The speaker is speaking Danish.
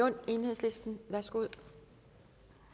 og seksten